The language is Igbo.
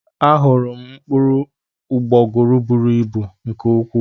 Ahụrụ m mkpụrụ ụgbọguru bụrụ ịbụ nke ukwuu.